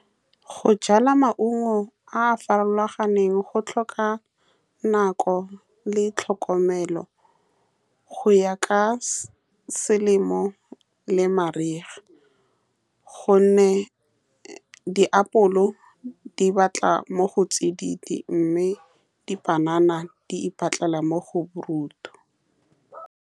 Go jala maungo a a farologaneng go tlhoka nako le tlhokomelo go ya ka selemo le mariga, ka gonne diapoledi batla mo go tsididi mme dipanana di ipatlela mo go borutho.